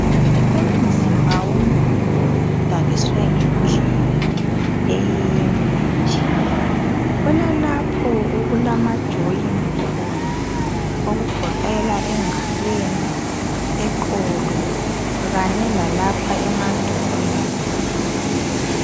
Umzimba womuntu udaliswe ngendlela eyinye nje, kulalapho okulama joyini khona okugoqela engalweni, eqolo kanye lalapha emadolweni.